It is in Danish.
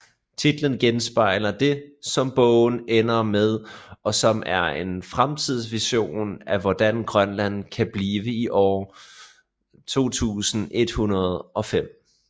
Titlen genspejler det som bogen ender med og som er en fremtidsvision af hvordan Grønland kan blive i år 2105